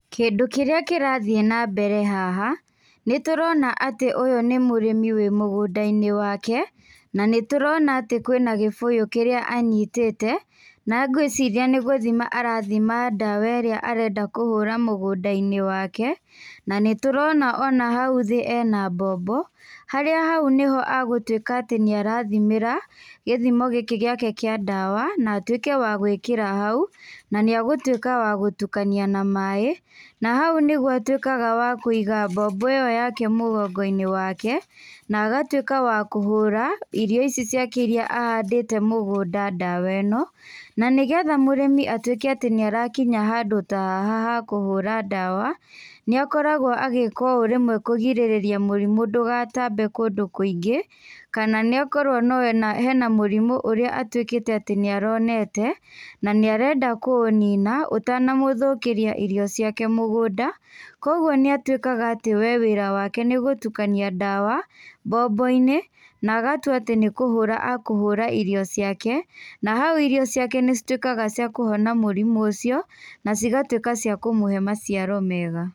Kĩndũ kĩrĩa kĩrathiĩ na mbere haha nĩ tũrona atĩ ũyũ nĩ mũrĩmi arĩ mũgũnda-inĩ wake, na nĩ tũrona kwĩ na gĩbũyũ kĩrĩa anyitĩte na ngwĩciria nĩ gũthima arathima ndawa ĩrĩa arenda kũhũra mũgũnda-inĩ wake. Na nĩ tũrona ona hau thĩ ena mbombo harĩa hau nĩ agũtuĩka atĩ nĩ arathimĩra gĩthimo gĩkĩ gĩake kĩa ndawa na atuĩke wa gũĩkĩra hau na nĩ agũtuĩka wa gũtukania na maaĩ na hau nĩho atuĩkaga wa kũiga mbombo ĩyo yake mũgongo-inĩ wake, na agatuĩka wa kũhũra irio ici ciake iria ahandĩte mũgũnda ndawa ĩno. Na nĩ getha mũrĩmi atuĩke atĩ nĩ arakinya handũ ta haha ha kũhũra ndawa nĩ akoragwo agĩka ũũ rĩmwe kũgirĩrĩria mũrimũ ndũgatambe kũndũ kũingĩ kana no ĩkorwo harĩ na mũrimũ ũrĩa ũtuĩkĩte atĩ nĩ aronete na nĩ arenda kũũnina ũtanamũthũkĩria irio ciake mũgũnda. Koguo nĩ a tuĩkaga atĩ wĩra wake nĩ gũtukania ndawa mbombo-inĩ na agatua atĩ nĩ kũhũra akũhũra irio ciake, na hau irio ciake nĩ cituĩkaga cia kũhona mũrimũ ũcio na cigatuĩka cia kũmũhe maciaro mega.